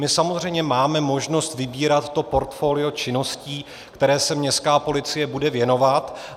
My samozřejmě máme možnost vybírat to portfolio činností, které se městská policie bude věnovat.